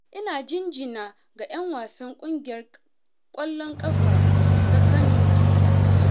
Ina jinjina ga 'yan wasan ƙungiyar ƙwallon ƙafa ta Kano pilas.